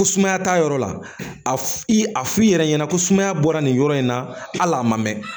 Ko sumaya t'a yɔrɔ la a i f'i yɛrɛ ɲɛna ko sumaya bɔra nin yɔrɔ in na hali a ma mɛn